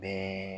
Bɛɛ